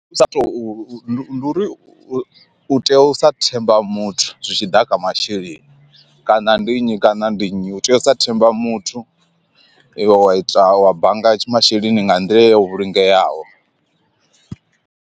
U sa to ndi uri u tea u sa themba muthu zwitshiḓa kha masheleni kana ndi nnyi kana ndi nnyi u tea u sa themba muthu iwe wa ita wa bannga masheleni nga nḓila yo vhulungeaho.